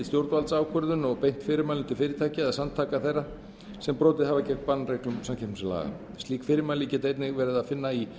stjórnvaldsákvörðun og beint fyrirmælum til fyrirtækja eða samtaka þeirra sem brotið hafa gegn bannreglum samkeppnislaga slík fyrirmæli getur einnig verið að finna í